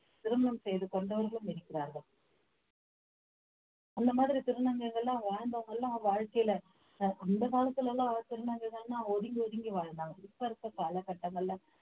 திருமணம் செய்து கொண்டவர்களும் இருக்கிறார்கள் அந்த மாதிரி திருநங்கைகள் எல்லாம் வாழ்ந்தவங்க எல்லாம் வாழ்க்கையில அஹ் அந்த காலத்துல எல்லாம் திருநங்கைகள்ன்னா ஒதுங்கி ஒதுங்கி வாழ்ந்தாங்க இப்ப இருக்க காலகட்டங்கள்ல